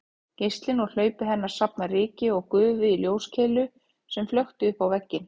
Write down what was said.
Geislinn úr hlaupi hennar safnaði ryki og gufu í ljóskeilu sem flökti uppá vegginn